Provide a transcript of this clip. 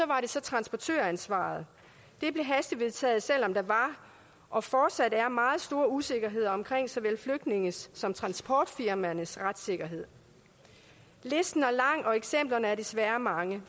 var det så transportøransvaret det blev hastevedtaget selv om der var og fortsat er meget stor usikkerhed om såvel flygtningenes som transportfirmaernes retssikkerhed listen er lang og eksemplerne er desværre mange